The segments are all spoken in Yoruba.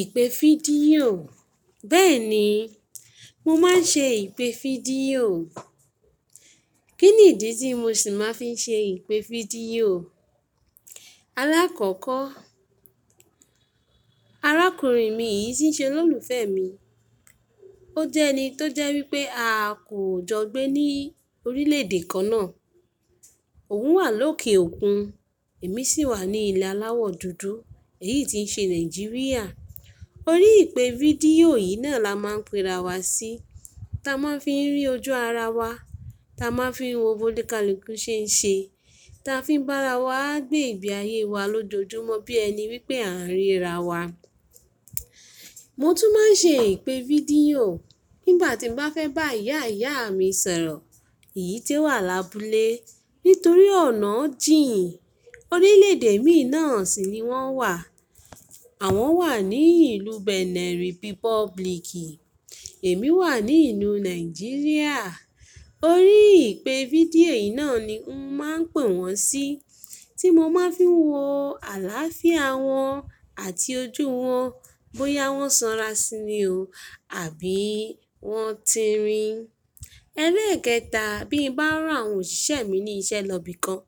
Ìpè fídíò. Bẹ́ẹ̀ni, mo má n ṣe ìpè fídíò. Kí nìdí tí mo sì má n fi ṣe ìpè fídíò? Alákọ̀ọ́kọ́, arákùnrin mi yìí tí n ṣe olólùfẹ́ mi. Ó jẹ́ ẹni tó jẹ́ wípé a kò jọ gbé ní orílè èdè kan náà. Òun wà lókè òkun, èmi sì wà ní ilé aláwọ̀ dúdú, èyí tí n ṣe Nàìjíríà. Orí ìpè fídíò yìí náà la má n pèra wa sí. Ta má n fi rí ojú ara wa, ta má n fi wo bó nikaluku se n ṣe, ta fi bá ara wa gbé ìgbé ayé wa lójoojúmọ́ bí ẹni wípé a n ríra wa. Mo tún má n ṣe ìpè fídíò nígbà tí mo bá fẹ́ bá ìyá ìyá mi sọ̀rọ̀, èyí tí o wà lábúlé. Nítorí ọ̀nà jìn, orílè èdè mi náà sì ni wọ́n wà. Àwọn wà ní ìlú Benin Republicì, èmi wà ní ìlú Nàìjíríà. Orí ìpè fídíò yìí náà ni n má n pè wọ́n sí, tí mo má n fi wo àláfíà wọ́n àti ojú wọ́n, bóyá wọ́n sanra sí ní o àbí wọ́n ti rìn. Ẹ̀leẹ́ kẹta, bí mo bá rán àwọn òṣìṣẹ́ mi ní iṣẹ́ lọ ibi kan,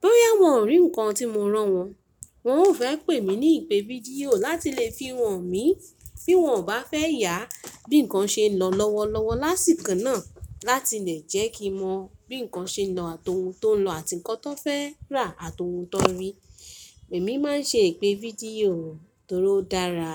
bóyá wọ́n rí nǹkan tí mo rán wọ́n, wọ́n ó fẹ́ pè mí ní ìpè fídíò láti lè fi hàn mí bí wọ́n ò bá fẹ́ yà bí nǹkan ṣe lọ lọ́wọ́lọ́wọ́ lásìkò náà láti lè jẹ́ kí n mọ bí nǹkan ṣe nlọ àti ohun tó n lọ àti nǹkan tan fẹ́ rà àti ohun tan rí. Èmi má n ṣe ìpè fídíò torí ó dára.